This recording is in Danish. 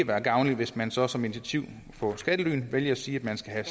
være gavnligt hvis man så som initiativ mod skattely vælger at sige at man skal have